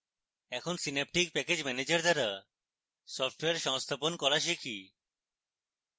এখন synaptic package manager দ্বারা software সংস্থাপন করা শিখি